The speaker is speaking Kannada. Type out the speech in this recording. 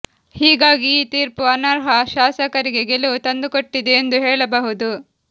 ಹೀಗಾಗಿ ಈ ತೀರ್ಪು ಅನರ್ಹ ಶಾಸಕರಿಗೆ ಗೆಲುವು ತಂದುಕೊಟ್ಟಿದೆ ಎಂದು ಹೇಳಬಹುದು